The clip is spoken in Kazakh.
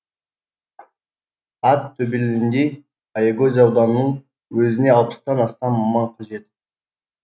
ат төбеліндей аягөз ауданның өзіне алпыстан астам маман қажет